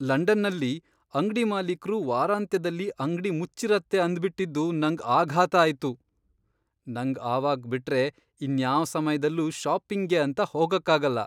ಲಂಡನ್ನಲ್ಲಿ ಅಂಗ್ಡಿ ಮಾಲೀಕ್ರು ವಾರಾಂತ್ಯದಲ್ಲಿ ಅಂಗ್ಡಿ ಮುಚ್ಚಿರತ್ತೆ ಅಂದ್ಬಿಟಿದ್ದು ನಂಗ್ ಆಘಾತ ಆಯ್ತು! ನಂಗ್ ಅವಾಗ್ ಬಿಟ್ರೆ ಇನ್ಯಾವ್ ಸಮಯ್ದಲ್ಲೂ ಷಾಪಿಂಗ್ಗೆ ಅಂತ ಹೋಗಕ್ಕಾಗಲ್ಲ.